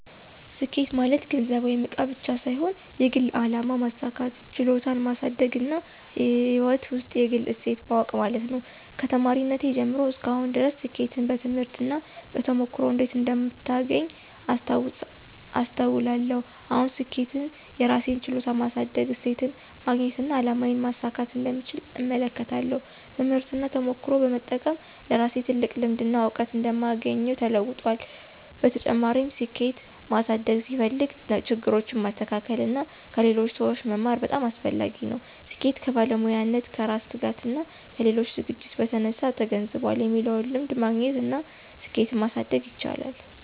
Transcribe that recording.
ስኬት ማለት ገንዘብ ወይም እቃ ብቻ ሳይሆን የግል አላማ ማሳካት፣ ችሎታን ማሳደግና ሕይወት ውስጥ የግል እሴት ማወቅ ማለት ነው። ከተማሪነቴ ጀምሮ እስከ አሁን ድረስ ስኬትን በትምህርት እና በተሞክሮ እንዴት እንደምታገኝ አስተውላለሁ። አሁን ስኬትን የራሴን ችሎታ ማሳደግ፣ እሴትን ማግኘትና አላማዬን ማሳካት እንደምቻል እመለከታለሁ። ትምህርትና ተሞክሮ በመጠቀም ለራሴ ትልቅ ልምድና እውቀት እንደማግኘው ተለውጧል። በተጨማሪም፣ ስኬት ማሳደግ ሲፈልግ ችግሮችን ማስተካከል እና ከሌሎች ሰዎች መማር በጣም አስፈላጊ ነው። ስኬት ከባለሙያነት፣ ከራስ ትጋትና ከሌሎች ዝግጅት በተነሳ ተገንዝቧል የሚለውን ልምድ ማግኘት እና እሴትን ማሳደግ ይቻላል።